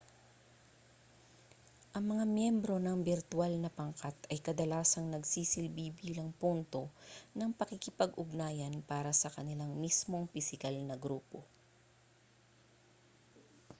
ang mga miyembro ng birtwal na pangkat ay kadalasang nagsisilbi bilang punto ng pakikipag-ugnayan para sa kanilang mismong pisikal na grupo